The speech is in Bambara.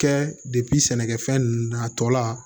Kɛ sɛnɛkɛfɛn ninnu na a tɔ la